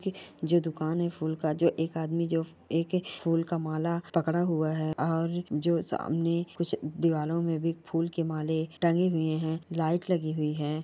जो दुकान है फूल का एक आदमी जो एक फूल का माला पकड़ हुआ है और जो सामने दीवारों पर भी फूल के माले टंगे हुए हैं लाइट लगी हुई है।